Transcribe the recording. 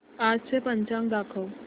आजचं पंचांग दाखव